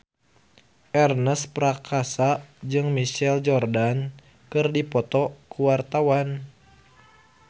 Ernest Prakasa jeung Michael Jordan keur dipoto ku wartawan